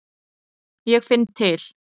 Ég finn til.